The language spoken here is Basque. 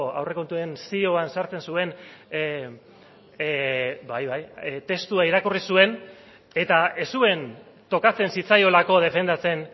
aurrekontuen zioan sartzen zuen bai bai testua irakurri zuen eta ez zuen tokatzen zitzaiolako defendatzen